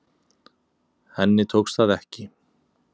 Henni tókst það ekki.